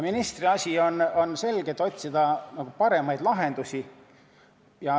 Ministri asi on otsida paremaid lahendusi.